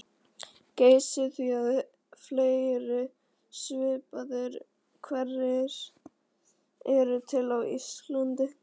Geysi því að fleiri svipaðir hverir eru til á Íslandi.